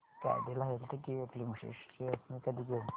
Cadila healthcare limited shares मी कधी घेऊ